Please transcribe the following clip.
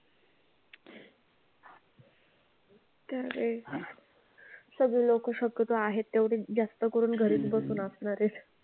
तरी सगळी लोकं शक्यतो आहेत तेवढीच जास्त करून घरीच बसून असणार आहेत.